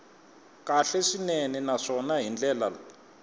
kahle swinene naswona hi ndlela